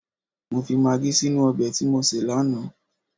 Mọ fi magí sínú ọbẹ̀ tí mọ sé lánàá